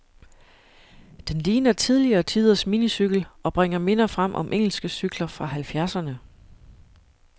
Den ligner tidligere tiders minicykel, og bringer minder frem om engelske cykler fra halvfjerdserne.